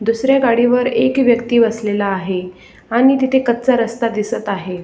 दुसऱ्या गाडीवर एक व्यक्ति बसलेला आहे आणि तिथे कच्चा रस्ता दिसत आहे.